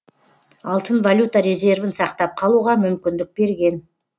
алтын валюта резервін сақтап қалуға мүмкіндік берген